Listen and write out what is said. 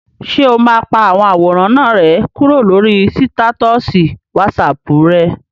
Ṣé o máa pa àwọn àwòrán náà rẹ́ kúrò lórí sítátọ̀sì wásaàpù rẹ?